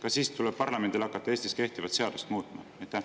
Kas siis tuleb parlamendil hakata Eestis kehtivat seadust muutma?